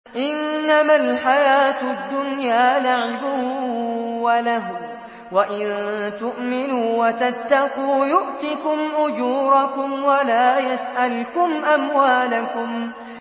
إِنَّمَا الْحَيَاةُ الدُّنْيَا لَعِبٌ وَلَهْوٌ ۚ وَإِن تُؤْمِنُوا وَتَتَّقُوا يُؤْتِكُمْ أُجُورَكُمْ وَلَا يَسْأَلْكُمْ أَمْوَالَكُمْ